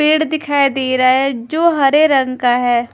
पेड़ दिखाई दे रहा है जो हरे रंग का है।